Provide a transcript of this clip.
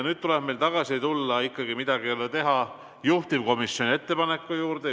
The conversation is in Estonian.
Nüüd tuleb meil tagasi tulla ikkagi, midagi ei ole teha, juhtivkomisjoni ettepaneku juurde.